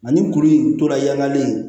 Ani kuru in tora yanni